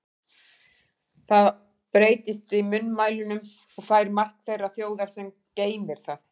Það breytist í munnmælunum og fær mark þeirrar þjóðar, sem geymir það.